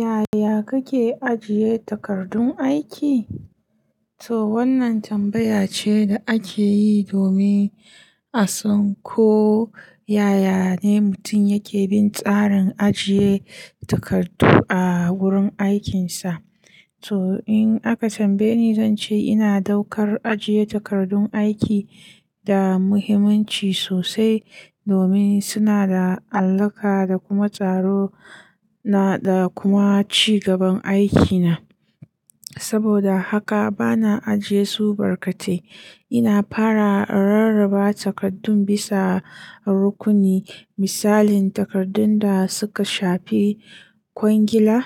Yaya kake ajiye takardun aiki? To wannan tambaya ce da ake yi domin a san ko yaya ne mutum yake bin tsarin ajiye takardu a wurin aikinsa. To in aka tambaye ni, zan ce ina ɗaukar ajiye takardun aiki da muhimmanci sosai domin suna da alaƙa da kuma tsaro na da kuma ci gaban aikina. Saboda haka bana ajiye su barkate. Ina fara rarraba takardun bisa rukuni misalin takardun da suka shafi kwangila,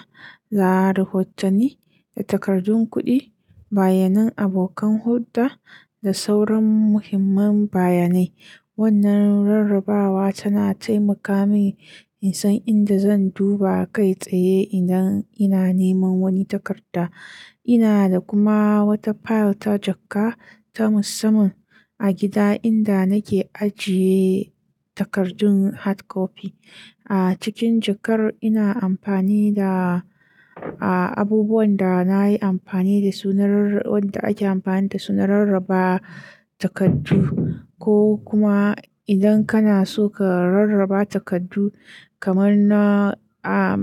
da, rahotanni da takardun kuɗi, bayanan abokan hurda da sauran muhimman bayanai. Wannan rarrabawa tana taimaka min in san inda zan duba kai tsaye idan ina neman wani takarda. Ina da kuma wata fayil ta jakka ta musamman a gida inda nake ajiye takardun hard copy. A cikin jakar ina amfani da, a abubuwan da nayi amfani da su na, wanda ake amfani da su na rarraba takardu ko kuma idan kana so ka rarraba takardu kamar na a,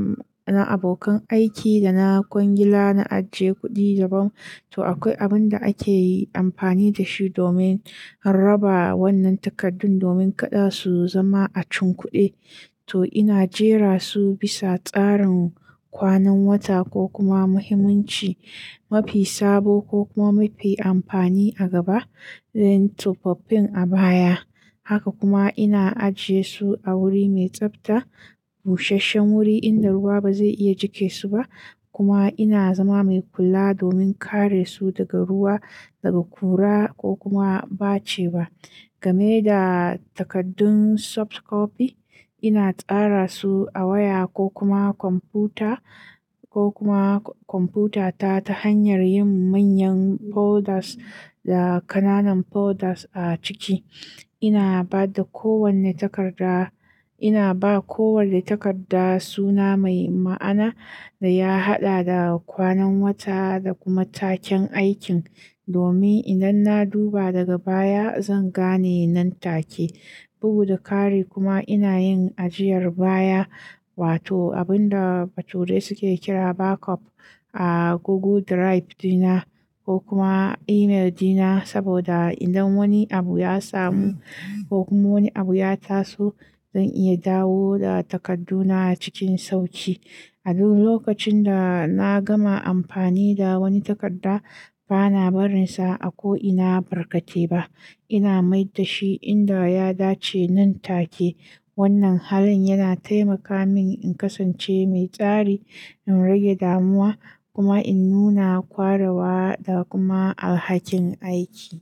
na abokan aiki da na kwangila, na ajiye kuɗi daban. To akwai abin da ake amfani da shi domin raba wannan takardun domin kada su zama a cin kuɗi. To ina jera su bisa tsarin kwanan wata ko kuma muhimmanci, mafi sabo ko kuma mafi amfani a gaba don tufafin a baya. Haka kuma ina ajiye su a wuri mai tsafta, busasshen wuri inda ruwa ba zai iya jiƙe su ba kuma ina zama mai kula domin kare su daga ruwa, daga kura ko kuma ɓace ba. Game da takardun soft copy, ina tsara su a waya ko kuma kwamfuta ko kuma kwamfutata ta hanyar yin manyan folders da ƙananan folders a ciki. Ina ba da kowane takarda, ina ba kowane takarda suna mai ma'ana da ya haɗa da kwanan wata da kuma taken aikin domin idan na duba daga baya zan gane nan take. Bugu da ƙari kuma ina yin ajiyar baya wato abin da bature suke kira backup a Google Drive dina ko kuma email dina saboda idan wani abu ya samu ko kuma wani abu ya taso zan iya dawo da takarduna cikin sauƙi. A duk lokacin da na gama amfani da wani takarda bana barinsa a ko ina barkate ba. Ina mai da shi inda ya dace nan take. Wannan halin yana taimaka min in kasance mai tsari, in rage damuwa kuma in nuna ƙwarawa da kuma alhakin aiki.